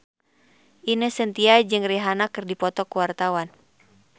Ine Shintya jeung Rihanna keur dipoto ku wartawan